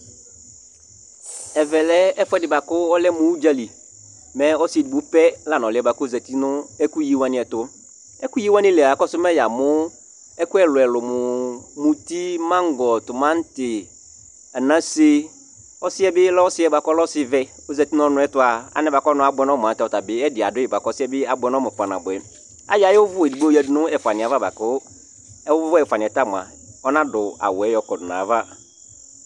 Ɛvɛlɛ ɛfʋɛɖi kʋ ɛlʋmu ʋdzali Mɛ ɔsi ɛɖigbo pɛ la lɛ ɔliɛ bʋakʋ ɔzɛti ŋu ɛkʋyi waŋi ɛtu Ɛkuyi waŋi lia akɔsu mɛ yamu ɛku ɛlu ɛlu mʋ mʋti, mango, tʋmati, anase Ɔsiɛ bi lɛ ɔsi vɛ kʋ ɔzɛti ŋu ɔnutu'a Alɛ bʋakʋ ɔnu abʋɛ ŋu ɔmu ɛɖì aɖʋi bʋakʋ ɔsiɛ bi abʋɛ amu kpa nabʋɛ Ayɔ ayʋ vu ɛɖigbo yaɖu ŋu ɛfʋaŋiɛ ava bʋakʋ ɛfʋaniɛ ta ɔnaɖu awuɛ yɔkɔɖu ŋu ayʋava